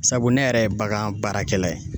Sabu ne yɛrɛ ye bagan baarakɛla ye.